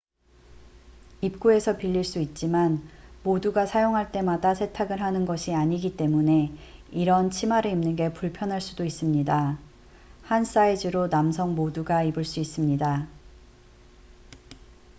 입구에서 빌릴 수 있지만 모두가 사용할 때마다 세탁을 하는 것이 아니기 때문에 이런 치마를 입는 게 불편할 수도 있습니다 한 사이즈로 남성 모두가 입을 수 있습니다